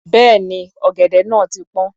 Bẹ́ẹ̀ni, ọ̀gẹ̀dẹ̀ náà ti pọ́n.